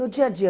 No dia a dia.